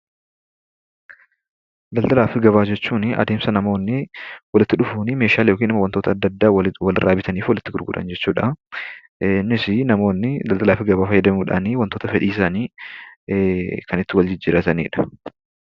Daldalaa fi gabaa jechuunii adeemsa namoonnii walitti dhufuuni meeshaalee yookin wantoota adda addaa walirraa bitanii fi walitti gurguran jechuudhaa. Innisii namoonnii daldalaa fi gabaa fayyadamuudhaani wantoota fedhiisaanii kan itti wal jijjiirratanidha.